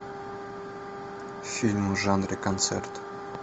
фильмы в жанре концерт